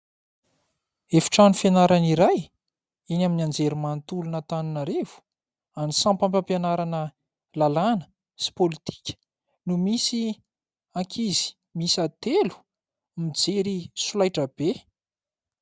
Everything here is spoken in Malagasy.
Efitrano fianarana iray eny amin'ny anjerimanontolon' Antananarivo any sampam-pampianarana lalàna sy politika no misy ankizy miisa atelo mijery solaitrabe.